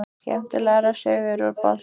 Skemmtilegar sögur úr boltanum?